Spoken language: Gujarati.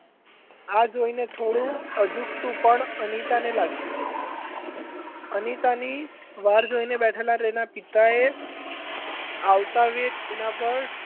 આ જોઈને થોડુ અજુગતું પણ અનિતાને લાગ્યું અનિતાની વાટ જોઈ રહેલાં તેનાં પિતાએ આવતાં વેઠ એનાં પર,